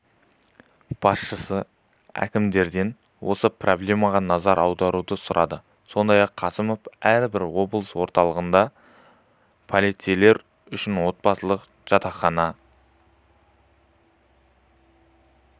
басшысы әкімдерден осы проблемаға назар аударуды сұрады сондай-ақ қасымов әрбір облыс орталығында полицейлер үшін отбасылық жатақхана